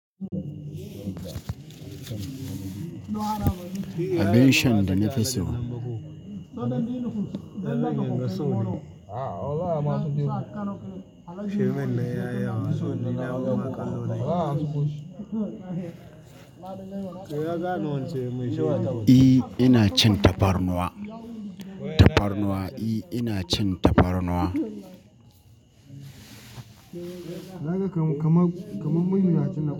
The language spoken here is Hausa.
Abin shan da na fi so. I, ina cin tafarnuwa. Tafarnuwa I ina cin tafarnuwa. Kama, kama, kaman muryar ya canza.